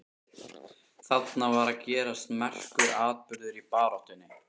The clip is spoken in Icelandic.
Þarna var að gerast merkur atburður í baráttunni.